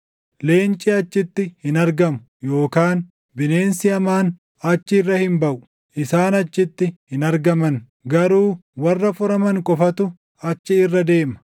Leenci achitti hin argamu; yookaan bineensi hamaan achi irra hin baʼu; isaan achitti hin argaman. Garuu warra furaman qofatu achi irra deema;